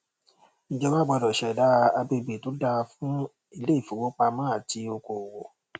ìjọba gbọdọ ṣẹdá agbègbè tó dáa fún iléìfowopamọ àti okò òwò